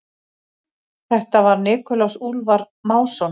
Þetta var Nikulás Úlfar Másson.